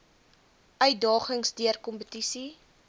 uitdagings deur kompetisie